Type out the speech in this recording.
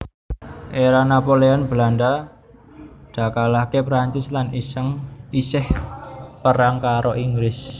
Era Napoleon Belanda dakalahke Perancis lan iseh perang karo Inggris